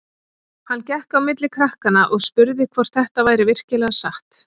Hann gekk á milli krakkanna og spurði hvort þetta væri virkilega satt.